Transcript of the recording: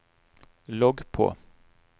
logg på